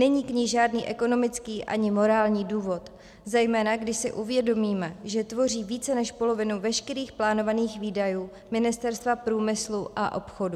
Není k ní žádný ekonomický ani morální důvod, zejména když si uvědomíme, že tvoří více než polovinu veškerých plánovaných výdajů Ministerstva průmyslu a obchodu.